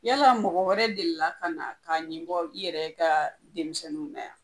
Yala mɔgɔ wɛrɛ deli ka na k'a ɲin bɔ i yɛrɛ ka denmisɛnninw mun bɛ yan